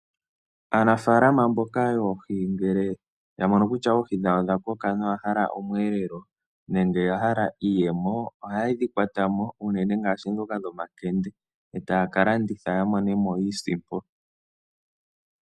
Aanafalama mboka yoohi ngele ya mono kutya oohi dhawo odha koka nawa noya hala omweelelo nenge oya hala iiyemo ohaye dhi kwata mo unene ngaashi ndhoka dhomakende e taya ka landitha ya mone mo iisimpo.